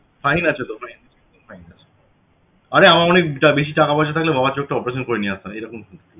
fine আছে তো fine আছে আরে আমার অনেক বেশি টাকা পয়সা থাকলে বাবার চোখটা operation করে নিয়ে আসতাম এরকম ঠিক ছিল~